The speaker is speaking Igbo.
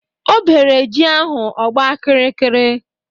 O bere ji ahụ ọgba kiri kiri